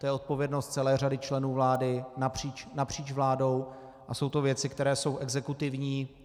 To je odpovědnost celé řady členů vlády napříč vládou a jsou to věci, které jsou exekutivní.